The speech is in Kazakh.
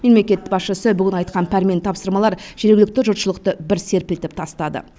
мемлекет басшысы айтқан пәрменді тапсырмалар жергілікті жұртшылықты бір серпілтіп тастады